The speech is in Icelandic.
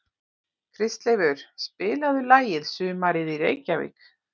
Kristleifur, spilaðu lagið „Sumarið í Reykjavík“.